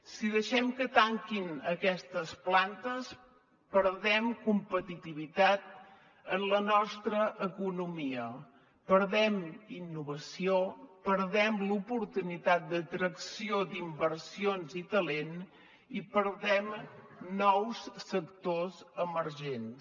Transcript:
si deixem que tanquin aquestes plantes perdem competitivitat en la nostra economia perdem innovació perdem l’oportunitat d’atracció d’inversions i talent i perdem nous sectors emergents